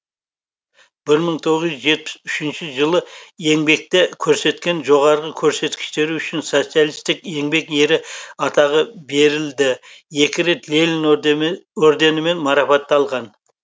бір мың тоғыз жүз жетпіс үшінші жылы еңбекте көрсеткен жоғары көрсеткіштері үшін социалистік еңбек ері атағы берілді екі рет ленин орденімен марапатталған